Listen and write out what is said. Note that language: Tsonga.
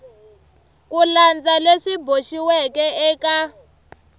ku landza leswi boxiweke eka